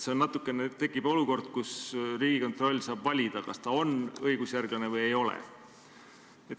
Tekib natuke nagu olukord, kus Riigikontroll saab valida, kas ta on õigusjärglane või ei ole.